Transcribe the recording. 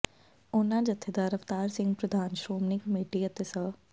ਉਨ੍ਹਾਂ ਜਥੇਦਾਰ ਅਵਤਾਰ ਸਿੰਘ ਪ੍ਰਧਾਨ ਸ਼੍ਰੋਮਣੀ ਕਮੇਟੀ ਅਤੇ ਸ